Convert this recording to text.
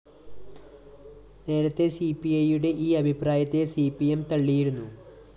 നേരത്തെ സിപിഐയുടെ ഈ അഭിപ്രായത്തെ സി പി എം തള്ളിയിരുന്നു